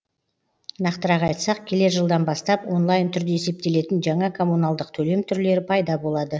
нақтырақ айтсақ келер жылдан бастап онлайн түрде есептелетін жаңа коммуналдық төлем түрлері пайда болады